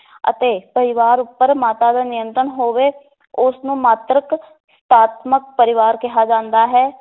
ਅਤੇ ਪਰਿਵਾਰ ਉਪਰ ਮਾਤਾ ਦਾ ਨਿਯੰਤਰਣ ਹੋਵੇ, ਉਸ ਨੂੰ ਮਾਤ੍ਰਿਕ ਪਰਿਵਾਰ ਕਿਹਾ ਜਾਂਦਾ ਹੈ।